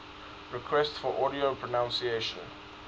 requests for audio pronunciation